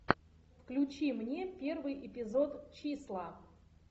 включи мне первый эпизод числа